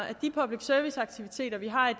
at de public service aktiviteter vi har i